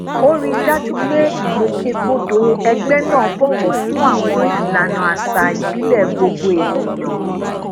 ó rí i dájú pé ìgbòkègbodò egbe náà bọwọ fún àwọn ìlànà àṣà ìbílẹ gbogbo ènìyàn